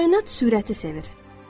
Kainat sürəti sevir.